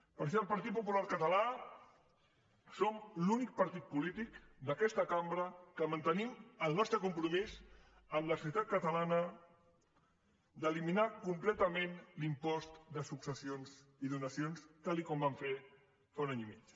per això el partit popular català som l’únic partit polític d’aquesta cambra que mantenim el nostre compromís amb la societat catalana d’eliminar completament l’impost de successions i donacions tal com vam fer fa un any i mig